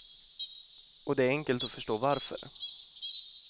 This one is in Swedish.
Och det är enkelt att förstå varför.